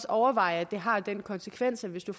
overveje at det har den konsekvens at hvis der